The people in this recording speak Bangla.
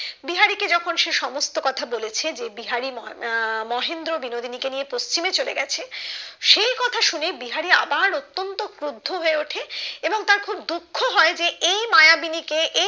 বিহারি কে যখন সে সমস্ত কথা বলেসহ যে বিহারি আহ মহেন্দ্র বিনোদিনী কে নিয়ে পশ্চিমে চলে গেছে সেই কথা শুনে বিহারি আবার অতন্ত ক্রুদ্ধ হয়ে উঠে এবং তার খুব দুঃখ হয় যে এই মায়াবিনী কে